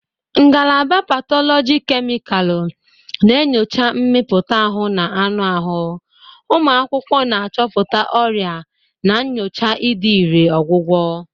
Ngalaba Patologi kemịkalụ na-enyocha mmịpụta ahụ na anụ ahụ, ụmụ akwụkwọ na-achọpụta ọrịa na nyochaa ịdị irè ọgwụgwọ.